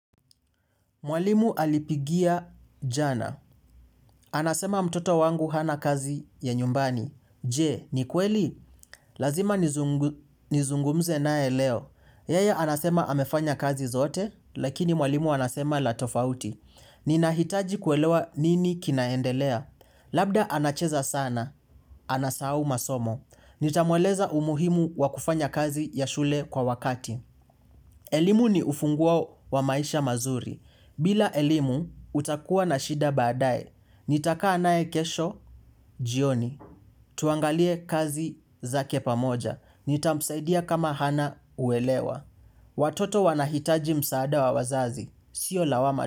Mwalimu alipigia jana. Anasema mtoto wangu hana kazi ya nyumbani. Je, ni kweli? Lazima nizungumze nae leo. Yeye anasema amefanya kazi zote, lakini mwalimu anasema la tofauti. Ninahitaji kuelewa nini kinaendelea. Labda anacheza sana. Anasahau masomo. Nitamweleza umuhimu wakufanya kazi ya shule kwa wakati. Elimu ni ufunguo wa maisha mazuri. Bila elimu, utakuwa na shida baadaye. Nitaka anaye kesho, jioni. Tuangalie kazi za kepa moja. Nitamsaidia kama hana uelewa. Watoto wanahitaji msaada wa wazazi. Sio lawama.